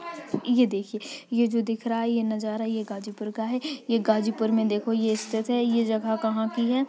ये देखिये ये जो दिख रहा है ये नजारा ये गाजीपुर का है। ये गाजीपुर में देखो ये स्थित है। ये जगह कहाँ की है।